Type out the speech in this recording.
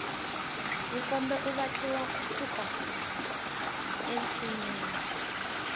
nkombe wu vatliwa ku suka ensinyeni